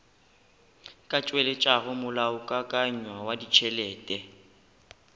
ka tšweletšago molaokakanywa wa ditšhelete